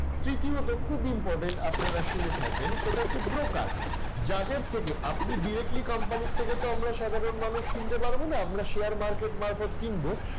তৃতীয়ত খুব important আপনারা শুনে থাকবেন, সেটা হচ্ছে broker যাদের থেকে আপনি directly company র থেকে আমরা সাধারণ মানুষ কিনতে পারব না, আমরা share market মারফত কিনব